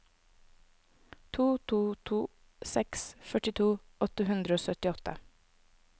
to to to seks førtito åtte hundre og syttiåtte